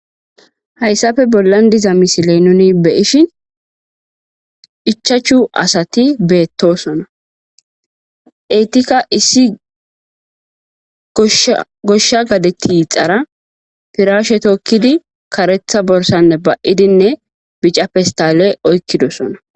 Hasappe bollan dizza misilya nuni beyishin ichachu asatti betossona etikka issi gosha gadde tixxara firashe tokiddi karetha borssa ba77idi bicca pestall oyqidosonna.